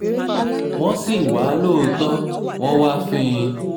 wọ́n sì wá lóòótọ́ wọ́n wáá fín in